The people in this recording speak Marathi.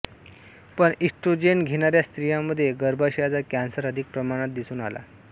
पण इस्ट्रोजेन घेणाऱ्या स्त्रियांमध्ये गर्भाशयाचा कॅन्सर अधिक प्रमाणात दिसून आला